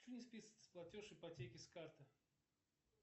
почему не списывается платеж ипотеки с карты